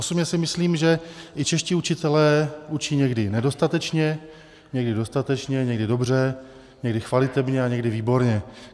Osobně si myslím, že i čeští učitelé učí někdy nedostatečně, někdy dostatečně, někdy dobře, někdy chvalitebně a někdy výborně.